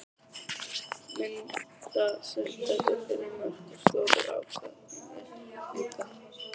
Myndbandsupptökur fyrir mörk og stórar ákvarðanir líka?